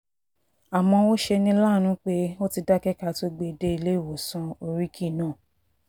àmọ́ ó ṣe ní láàánú pé ó ti dákẹ́ ká tóo gbé e dé iléewòsàn oríkì náà